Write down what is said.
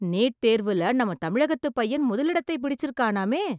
NEET தேர்வுல நம்ம தமிழகத்துப் பையன் முதல் இடத்தை பிடிச்சிருக்கானாமே...